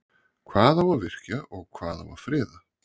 Hvað á að virkja og hvað á að friða?